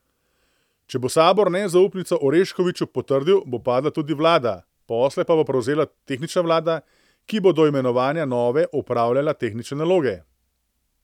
Če bo sabor nezaupnico Oreškoviću potrdil, bo padla tudi vlada, posle pa bo prevzela tehnična vlada, ki bo do imenovanja nove opravljala tehnične naloge.